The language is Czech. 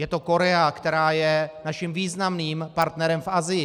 Je to Korea, která je naším významným partnerem v Asii.